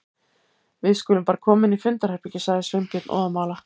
Við skulum bara koma inn í fundarherbergi- sagði Sveinbjörn óðamála.